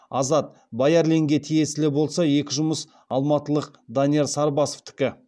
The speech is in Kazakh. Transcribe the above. азат баярлинге тиесілі болса екі жұмыс алматылық данияр сарбасовтікі